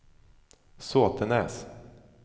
Sotenäs